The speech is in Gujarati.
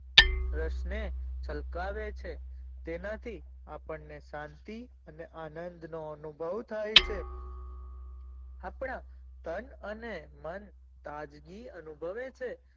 ક્રષ્ણે એ છલકાવે છે તેમાંથી આપણે શાંતિ અને આનંદ નો અનુભવ થાઈ છે આપણા તન અને મન તાજગી અનુભવે છે.